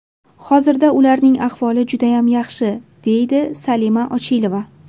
Hozirda ularning ahvoli judayam yaxshi”, deydi Salima Ochilova.